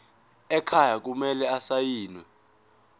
ekhaya kumele asayiniwe